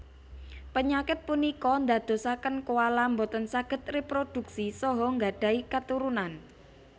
Penyakit punika ndadosaken koala boten saged reprodhuksi saha nggadhahi katurunan